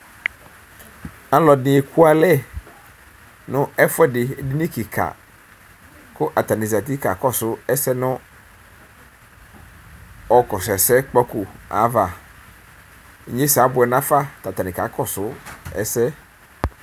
Alʋɛdi ekʋalɛ nʋ ɛfʋɛdi edini kika kʋ atani zati kakɔsʋ ɛsɛnʋ ɔkɔsʋ ɛsɛkpako ava inyesɛ abʋɛ nʋ afa tʋ atani kakɔsʋ ɛsɛ